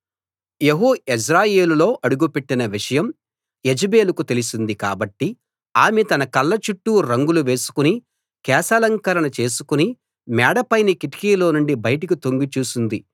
యెహూ యెజ్రెయేలులో అడుగుపెట్టిన విషయం యెజెబెలుకు తెలిసింది కాబట్టి ఆమె తన కళ్ళ చుట్టూ రంగులు వేసుకుని కేశాలంకరణ చేసుకుని మేడపైని కిటికీలోనుండి బయటకు తొంగి చూసింది